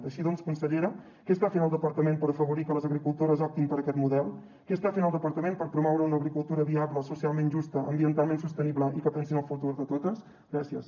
així doncs consellera què està fent el departament per afavorir que les agricultores optin per aquest model què està fent el departament per promoure una agricultura viable socialment justa ambien talment sostenible i que pensi en el futur de totes gràcies